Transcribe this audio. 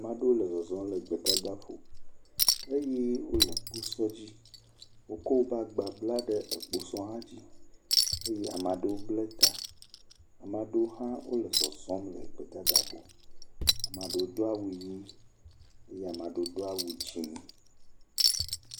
Ame aɖewo le zɔzɔm le gbedada ƒo eye wole kposɔ dzi, wokɔ wobe agba bla ɖe kposɔ ha dzi, eye ame aɖeo blɛ ta, ama ɖo hã wole zɔzɔm le gbedada ƒo, ama ɖo do awu ʋi eye maɖoo do awu dzɛ̃.